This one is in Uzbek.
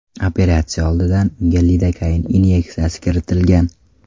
Operatsiya oldidan unga lidokain inyeksiyasi kiritilgan.